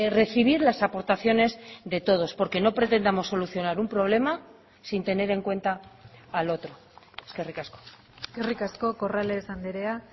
recibir las aportaciones de todos porque no pretendamos solucionar un problema sin tener en cuenta al otro eskerrik asko eskerrik asko corrales andrea